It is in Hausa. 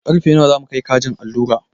Karfe nawa za mu kai kajin allura?